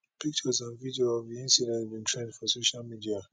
pictures and videos of di incident bin trend for social media